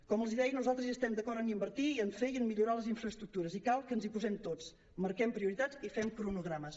com els deia nosaltres estem d’acord en invertir en fer i en millorar les infraestructures i cal que ens hi posem tots marquem prioritats i fem cronogrames